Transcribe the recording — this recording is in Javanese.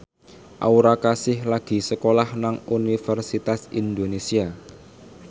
Aura Kasih lagi sekolah nang Universitas Indonesia